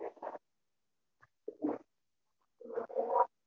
Okay அஹ்